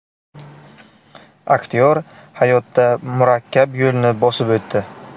Aktyor hayotda murakkab yo‘lni bosib o‘tdi.